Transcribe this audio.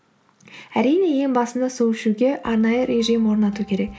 әрине ең басында су ішуге арнайы режим орнату керек